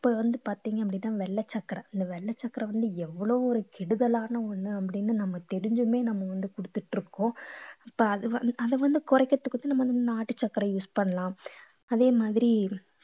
இப்ப வந்து பார்த்தீங்க அப்படின்னா வெள்ளை சக்கரை அந்த வெள்ளை சர்க்கரை வந்து எவ்வளவு ஒரு கெடுதலான ஒண்ணு அப்படின்னு நம்ம தெரிஞ்சுமே நம்ம வந்து குடுத்துட்டு இருக்கோம் இப்ப அது வந்து அதை வந்து குறைக்கிறதுக்குதான் நம்ம நாட்டு சர்க்கரையை use பண்ணலாம் அதே மாதிரி